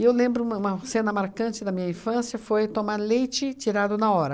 eu lembro uma uma cena marcante da minha infância foi tomar leite tirado na hora.